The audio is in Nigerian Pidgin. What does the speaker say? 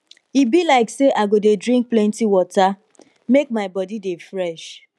e be like say i go dey drink plenty water make my body dey fresh